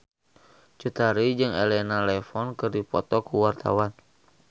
Cut Tari jeung Elena Levon keur dipoto ku wartawan